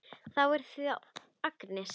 Það er þá Agnes!